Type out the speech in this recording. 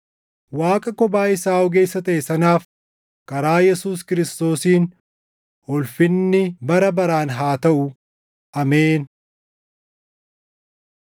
Waaqa kophaa isaa ogeessa taʼe sanaaf karaa Yesuus Kiristoosiin ulfinni bara baraan haa taʼu! Ameen.